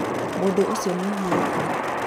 mũndũ ũcio nĩ ahurũka